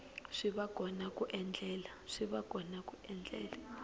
swi va kona ku endlela